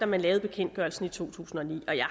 man lavede bekendtgørelsen i to tusind og ni og jeg